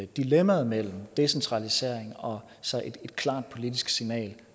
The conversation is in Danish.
dilemmaet mellem decentralisering og så et klart politisk signal